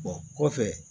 kɔfɛ